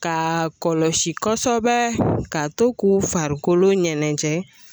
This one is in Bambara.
Ka kɔlɔsi kosɛbɛ k'a to k'u farikolo ɲɛntɛ